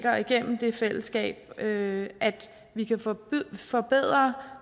og igennem det fællesskab at vi kan forbedre forbedre